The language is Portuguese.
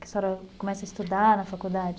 Que a senhora começa a estudar na faculdade?